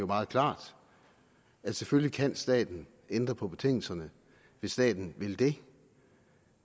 meget klart at selvfølgelig kan staten ændre på betingelserne hvis staten vil det